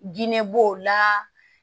Diinɛ b'o la